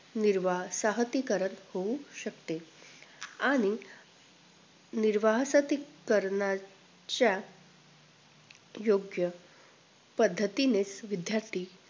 निर्वाह साहतीकरण होऊ शकते आणि निर्वाहसाहतीकरण्याच्या योग्य पद्धतीने विद्दार्थी